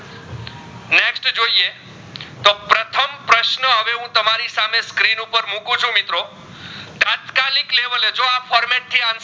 હું તમારી સહમે સ્ક્રીન ઉપર મૂકું છું મિત્રો તત્કાલીક લેવલ એ જો આ format